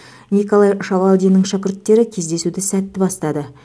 николай шавалдиннің шәкірттері кездесуді сәтті бастады